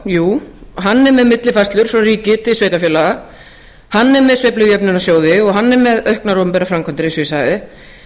jú hann er með millifærslur frá ríki til sveitarfélaga hann er með sveiflujöfnunarsjóði og hann er með auknar opinberar framkvæmdir eins og ég sagði